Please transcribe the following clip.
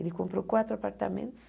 Ele comprou quatro apartamentos,